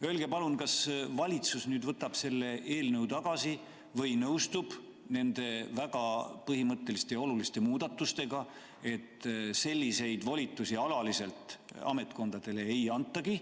Öelge palun, kas valitsus võtab selle eelnõu tagasi või nõustub nende väga põhimõtteliste ja oluliste muudatustega, et selliseid volitusi alaliselt ametkondadele ei antagi.